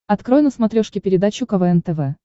открой на смотрешке передачу квн тв